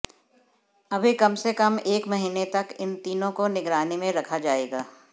अभी कम से कम एक महीने तक इन तीनों को निगरानी में रखा जाएगा